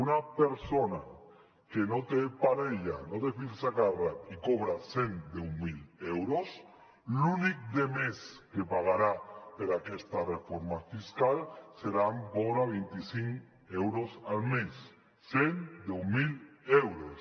una persona que no té parella no té fills a càrrec i cobra cent i deu mil euros l’únic de més que pagarà per aquesta reforma fiscal seran vora de vint i cinc euros al mes cent i deu mil euros